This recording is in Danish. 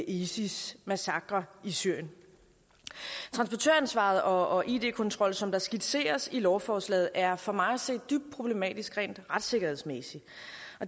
isis massakrer i syrien transportøransvaret og id kontrollen som der skitseres i lovforslaget er for mig at se dybt problematiske rent retssikkerhedsmæssigt